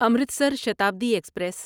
Amritsar Shatabdi express